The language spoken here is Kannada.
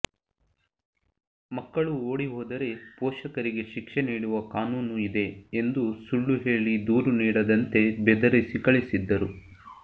ಮಕ್ಕಳು ಓಡಿಹೋದರೆ ಪೋಷಕರಿಗೆ ಶಿಕ್ಷೆ ನೀಡುವ ಕಾನೂನು ಇದೆ ಎಂದು ಸುಳ್ಳು ಹೇಳಿ ದೂರು ನೀಡದಂತೆ ಬೆದರಿಸಿ ಕಳಿಸಿದ್ದರು